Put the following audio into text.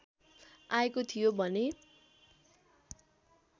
आएको थियो भने